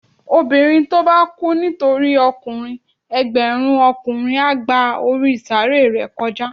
Obinrín to ba kú nitori okunrin, ẹgbẹrun okunrin a gba orí saaré re kojá